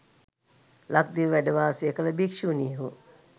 ලක්දිව වැඩවාසය කළ භික්‍ෂුණීහු